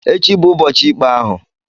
Echi bụ ụbọchị ikpe ahụ.